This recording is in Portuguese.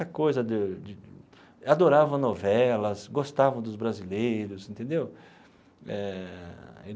Coisa de de adoravam novelas, gostavam dos brasileiros entendeu eh.